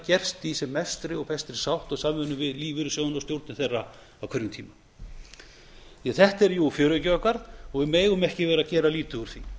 gert í sem mestri og bestri sátt og samvinnu við lífeyrissjóðina og stjórnir þeirra á hverjum tíma þetta er fjöreggið okkar og við megum ekki vera að gera lítið úr því